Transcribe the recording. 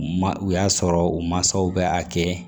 Ma o y'a sɔrɔ u masaw bɛ a kɛ